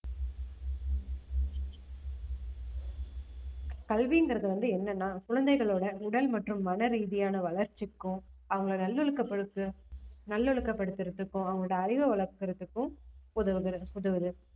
கல்விங்கிறது வந்து என்னன்னா குழந்தைகளோட உடல் மற்றும் மனரீதியான வளர்ச்சிக்கும் அவங்களை நல்லொழுக்கப்படுத்து~ நல்லொழுக்கப்படுத்துறதுக்கும் அவங்களோட அறிவை வளர்க்கறதுக்கும் உதவுகிறது உதவுது